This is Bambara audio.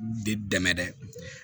Bɛ dɛmɛ dɛ